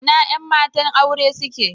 Ina yan matan aure suke?